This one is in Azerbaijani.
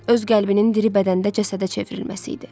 Öz qəlbinin diri bədəndə cəsədə çevrilməsi idi.